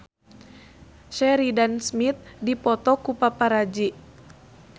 Sheridan Smith dipoto ku paparazi